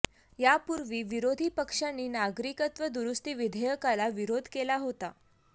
यापूर्वी विरोधी पक्षांनी नागरिकत्व दुरूस्ती विधेयकाला विरोध केला होता